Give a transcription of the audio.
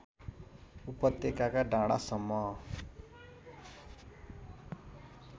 उपत्यकाका डाँडासम्म